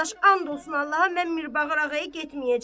Qardaş, and olsun Allaha, mən Mirbağır ağaya getməyəcəm.